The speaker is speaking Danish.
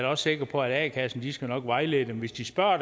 også sikker på at a kassen nok skal vejlede dem hvis de spørger a